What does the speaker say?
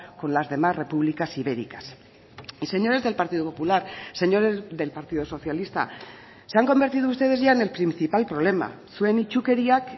con las demás repúblicas ibéricas y señores del partido popular señores del partido socialista se han convertido ustedes ya en el principal problema zuen itsukeriak